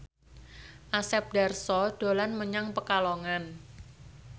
Asep Darso dolan menyang Pekalongan